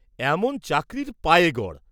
এমন চাকরীর পায়ে গড়!